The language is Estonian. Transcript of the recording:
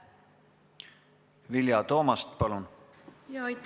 Vilja Toomast, palun!